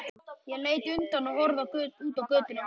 Ég leit undan og horfði út á götuna.